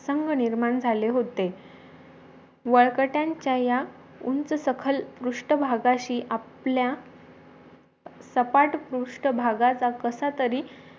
संग निर्माण झाले होते वळकठ्याच्या या उंच सखल पृष्ट भागशी आपल्या सपाट पृष्ट भागाचा कसा तरी